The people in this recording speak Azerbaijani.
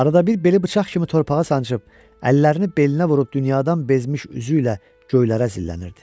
Arada bir beli bıçaq kimi torpağa sancıb əllərini belinə vurub dünyadan bezmiş üzüylə göylərə zillənirdi.